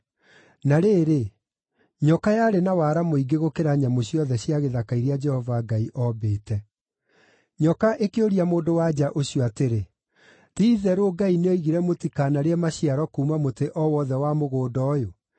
Na rĩrĩ, nyoka yarĩ na wara mũingĩ gũkĩra nyamũ ciothe cia gĩthaka iria Jehova Ngai oombĩte. Nyoka ĩyo ĩkĩũria mũndũ-wa-nja ũcio atĩrĩ, “Ti-itherũ Ngai nĩ oigire mũtikanarĩe maciaro kuuma mũtĩ o wothe wa mũgũnda ũyũ?”